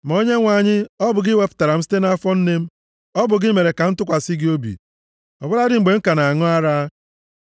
Ma Onyenwe anyị, ọ bụ gị wepụtara m site nʼafọ nne m. Ọ bụ gị mere ka m tụkwasị gị obi, ọ bụladị mgbe m ka na-aṅụ ara.